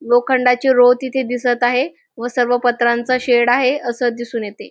लोखंडाची रो तिथे दिसत आहे व सर्व पत्रांचा शेड आहे अस दिसून येते.